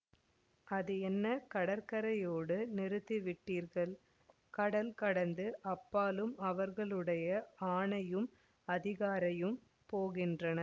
அது என்ன கடற்கரையோடு நிறுத்திவிட்டீர்கள் கடல் கடந்து அப்பாலும் அவர்களுடைய ஆணையும் அதிகாரமும் போகின்றன